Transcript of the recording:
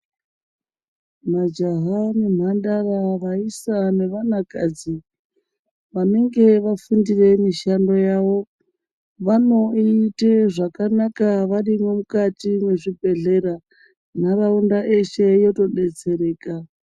Majaha nemhandara ,vaisa nevanakadzi ,vanenge vafundire mishando yavo, vanoite zvakanaka varimwo mukati mwezvibhedhlera, nharaunda yeshe yotodetsereka.